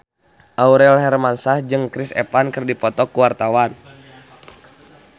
Aurel Hermansyah jeung Chris Evans keur dipoto ku wartawan